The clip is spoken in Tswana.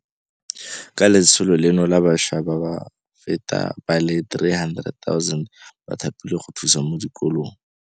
Ka letsholo leno bašwa ba feta ba le 300 000 ba thapilwe go thusa mo dikolong.